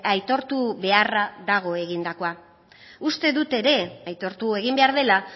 aitortu beharra dago egindakoa uste dut ere aitortu egin behar dela